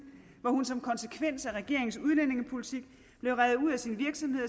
hvor hun som konsekvens af regeringens udlændingepolitik blev revet ud af sin virksomhed